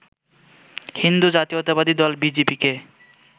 হিন্দু জাতীয়তাবাদী দল বিজেপিকে